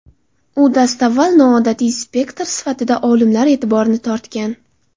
U dastavval noodatiy spektr sifatida olimlar e’tiborini tortgan.